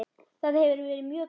Það hefur verið mjög gaman.